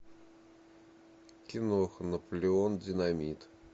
киноха наполеон динамит